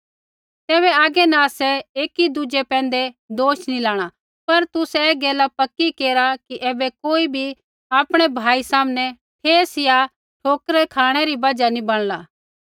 तैबै आगै न आसै एकी दुज़ै पैंधै दोष नी लाणा पर तुसै ऐ गैल पक्की केरा कि ऐबै कोई भी आपणै भाई सामनै ठेस या ठोकरा री खाँणै री बजहा नी बणला